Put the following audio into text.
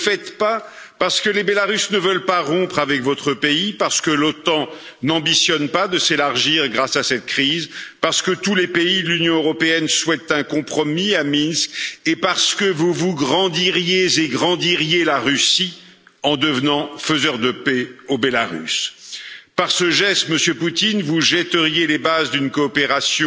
Ne le faites pas, parce que les Biélorusses ne veulent pas rompre avec votre pays, parce que l'OTAN n'ambitionne pas de s'élargir grâce à cette crise, parce que tous les pays de l'Union européenne souhaitent un compromis à Minsk et parce que vous vous grandiriez et grandiriez la Russie en devenant faiseur de paix en Biélorussie. Par ce geste, Monsieur Poutine, vous jetteriez les bases d'une coopération